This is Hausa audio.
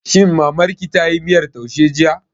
Shin Mamar ki tayi miyar taushe jiya?